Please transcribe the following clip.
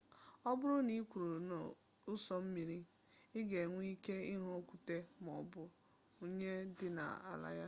ọ bụrụ na ị kwụrụ n'ụsọ mmiri ị ga enwe ike ịhụ okwute maọbụ unyi dị n'ala ya